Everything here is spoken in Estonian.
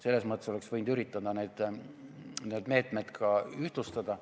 Selles mõttes oleks võinud üritada need meetmed ühtlustada.